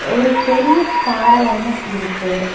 ஒரு பெரிய பாற ஒன்னு இருக்கு.